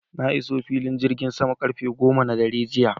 Na iso filin jirgin sama karfe goma na dare jiya